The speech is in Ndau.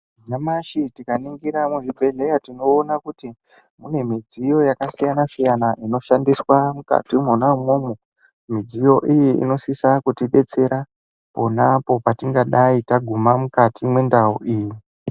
Nyamashi tikaningira muzvibhedhleya, tinoona kuti mune midziyo yakasiyana-siyana, inoshandiswa mukati mwona umwomwo .Midziyo iyi inosisa kutibetsera pona apo, patingadai taguma mwona mukati mwendau iyi.